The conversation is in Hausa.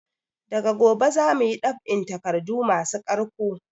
Daga gobe zamuyi dab'in takardu masu ƙarko